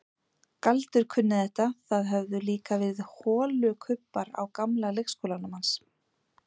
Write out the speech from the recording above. Galdur kunni þetta, það höfðu líka verið holukubbar á gamla leikskólanum hans.